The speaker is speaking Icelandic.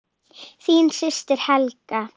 Þín systir, Helga.